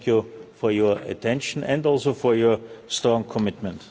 Thank you for your attention and also for your strong commitment.